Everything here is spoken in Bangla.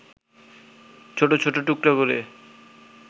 ছোট ছোট টুকরা করে